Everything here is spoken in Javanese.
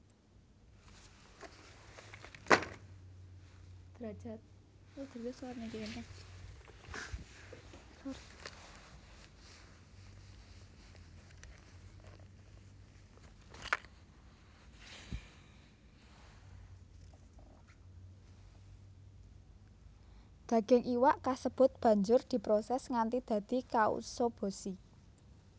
Daging iwak kasebut banjur diproses nganti dadi katsuobushi